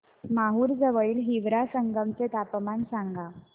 माहूर जवळील हिवरा संगम चे तापमान सांगा